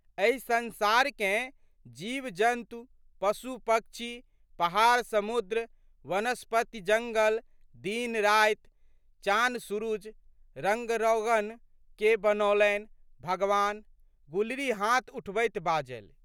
एहि संसारकेँ, जीवजन्तु, पशुपक्षी, पहाड़समुद्र, वनस्पत्तिजंगल, दिनराति, चानसुरुज, रंगरौगन के बनौलनि? भगवान",गुलरी हाथ उठबैत बाजलि।